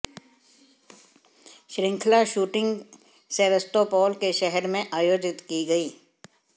श्रृंखला shooting Sevastopol के शहर में आयोजित की गई